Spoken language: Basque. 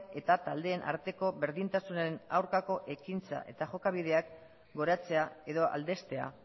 eta taldeen arteko berdintasunaren aurkako ekintzak eta jokabideak goratzea edo aldeztea